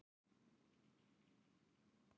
Hó, hó, hó!